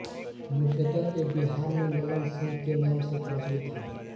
मुख्यत ये बिहार में लल्लन सिंह के नाम से प्रचलित हैं